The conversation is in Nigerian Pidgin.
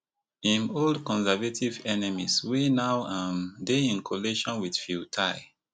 im old conservative enemies wey now um dey in coalition wit pheu thai